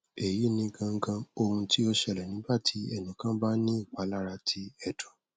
eyi ni gangan ohun ti o ṣẹlẹ nigbati ẹnikan ba ni ipalara ti ẹdun